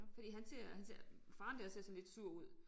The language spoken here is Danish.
Fordi han ser han ser faren dér ser sådan lidt sur ud